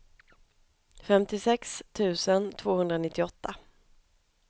femtiosex tusen tvåhundranittioåtta